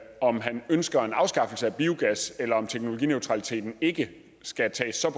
om han ønsker en afskaffelse af biogas eller om teknologineutraliteten ikke skal tages så